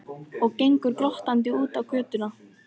Og gengur glottandi út á götuna.